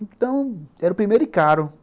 Então, era o primeiro e caro.